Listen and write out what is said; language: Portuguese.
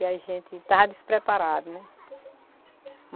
E a gente estava despreparado, né?